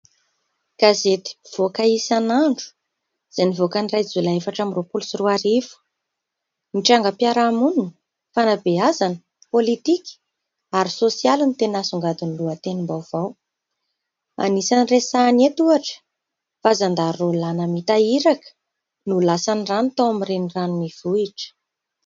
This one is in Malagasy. Gazety mpivoaka isan'andro, izay nivoaka ny iray jolay efatra ambin'ny roapolo sy roa arivo. Ny trangam-piarahamonina fanabeazana, pôlitika ary sôsialy ny teny asongadiny lohatenim-baovao. Anisany resahany eto ohatra fa "zandary roa lahy namita iraka no lasan'ny rano tao amin'ny reniranon'Ivohitra" .